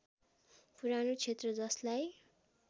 पुरानो क्षेत्र जसलाई